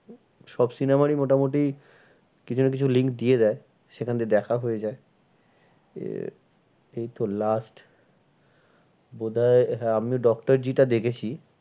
সব cinema রই মোটামুটি কিছু না কিছু link দিয়ে দেয়। সেখান দিয়ে দেখা হয়ে যায়। এই তো last বোধ হয় আমি doctor জি টা দেখেছি।